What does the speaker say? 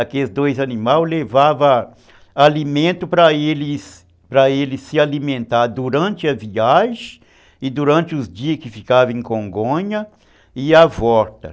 Aqueles dois animais levavam alimento para eles para eles se alimentarem durante a viagem e durante os dias que ficavam em Congonha e a volta.